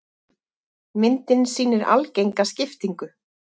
Myndin sýnir algenga skiptingu.